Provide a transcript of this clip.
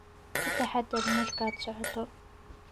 Ka taxadar markaad socoto